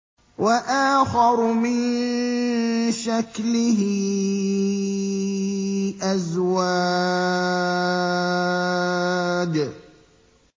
وَآخَرُ مِن شَكْلِهِ أَزْوَاجٌ